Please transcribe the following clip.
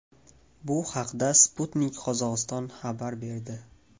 Bu haqda Sputnik Qozog‘iston xabar berdi.